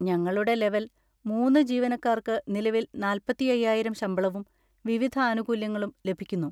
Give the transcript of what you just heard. ഞങ്ങളുടെ ലെവൽ മൂന്ന് ജീവനക്കാർക്ക് നിലവിൽ നാല്പത്തി അയ്യായിരം ശമ്പളവും വിവിധ ആനുകൂല്യങ്ങളും ലഭിക്കുന്നു.